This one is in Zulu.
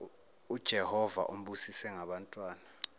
ujehova umbusise ngabantwana